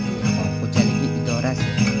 Dehqon xo‘jaligi idorasi.